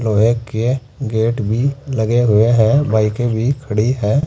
लोहे के गेट भी लगे हुए हैं बाइके भी खड़ी हैं।